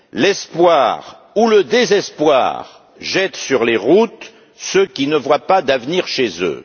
L'espoir ou le désespoir jette sur les routes ceux qui ne voient pas d'avenir chez eux.